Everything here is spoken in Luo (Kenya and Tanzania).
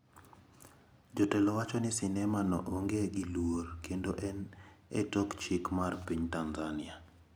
Jotelo wacho ni sinema no onge gi luor kendo en e tok chik mar piny Tanzania.